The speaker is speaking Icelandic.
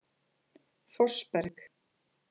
Fossberg